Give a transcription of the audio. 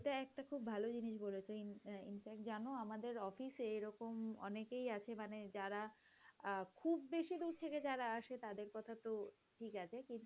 এটা একটা খুব ভালো জিনিস বলেছ infact জানো আমাদের অফিসে এরকম অনেকেই আছে মানে যারা অ্যাঁ খুব বেশি দূর থেকে যারা আসে তাদের কথা তো ঠিক আছে,